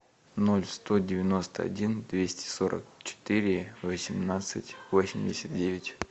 ноль сто девяносто один двести сорок четыре восемнадцать восемьдесят девять